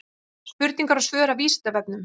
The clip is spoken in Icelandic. Spurningar og svör af Vísindavefnum.